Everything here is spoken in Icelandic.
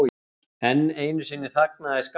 Enn einu sinni þagnaði skarinn.